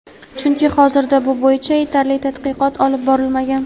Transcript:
chunki hozirda bu bo‘yicha yetarli tadqiqot olib borilmagan.